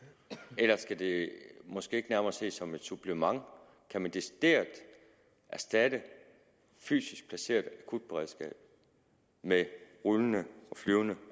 skal det måske ikke nærmere ses som et supplement kan man decideret erstatte et fysisk placeret akutberedskab med rullende og flyvende